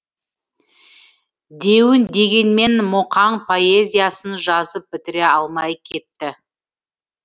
деуін дегенмен мұқаң поэзиясын жазып бітіре алмай кетті